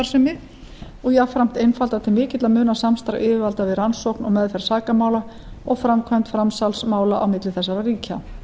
afbrotastarfsemi og jafnframt einfalda til mikilla muna samstarf yfirvalda við rannsókn og meðferð sakamála og framkvæmd framsalsmála á milli þessara ríkja